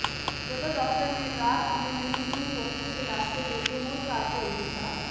ਜਦੋਂ ਡਾਕਟਰ ਨੇ ਰਾਤ ਸਮੇਂ ਮਰੀਜ਼ ਨੂੰ ਫੋਕੇ ਦਿਲਾਸੇ ਦੇ ਕੇ ਮੁੜ ਘਰ ਭੇਜ ਦਿੱਤਾ